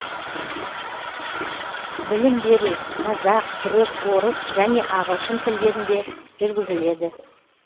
білім беру қазақ түрік орыс және ағылшын тілдерінде жүргізіледі